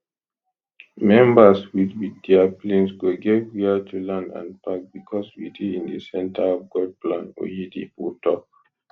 members wit wit dia planes go get wia to land and park becos we dey in di centre of god plan oyedepo tok